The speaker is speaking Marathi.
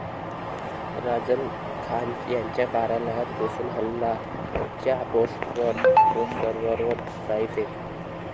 राजन खान यांच्या कार्यालयात घुसून 'हलाल'च्या पोस्टर्सवर शाईफेक